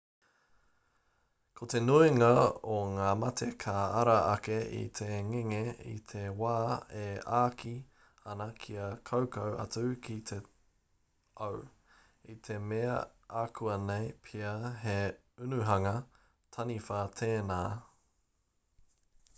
ko te nuinga o ngā mate ka ara ake i te ngenge i te wā e āki ana kia kaukau atu ki te au i te mea akuanei pea he unuhanga taniwha tēnā